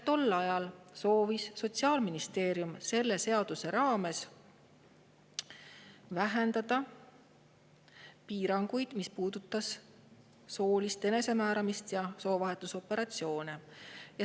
Tol ajal soovis Sotsiaalministeerium selle seaduse raames vähendada piiranguid, mis puudutavad soolist enesemääramist ja soovahetusoperatsioone.